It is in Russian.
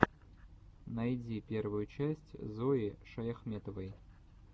найди первую часть зои шаяхметовой